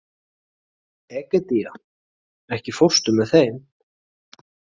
Egedía, ekki fórstu með þeim?